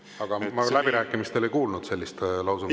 Aga ma läbirääkimistel ei kuulnud sellist lausungit.